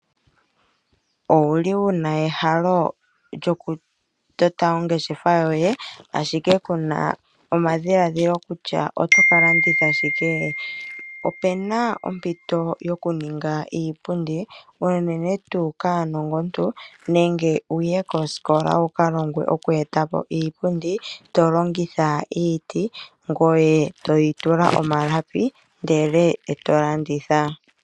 Owuli wuna ehalo lyo ku tota ongeshefa yoye ashike kuna omadhiladhilo kutya oto ka landitha shike? Opuna ompito yoku ninga iipundi unene tu kaanongontu nenge wuye koskola wuka longwe oku etapo iipundi tolongitha iiti ngoye toyi tula omalapi ndele eto landitha.